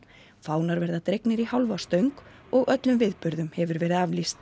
fánar verða dregnir í hálfa stöng og öllum viðburðum hefur verið aflýst